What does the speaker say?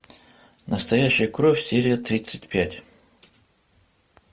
настоящая кровь серия тридцать пять